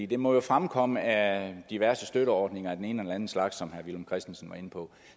det må jo fremkomme af diverse støtteordninger af den ene eller den anden slags som herre villum christensen var inde på